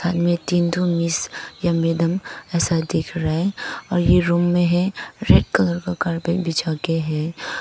तीन ठो मिस या मैडम असल दिख रहा है और ए रूम में है रेड कलर का कारपेट बिछाके है।